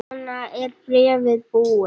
Svo er bréfið búið